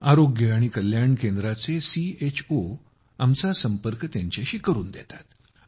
आरोग्य आणि कल्याण केंद्राचे सीएचओ त्यांना आमच्याशी जोडतात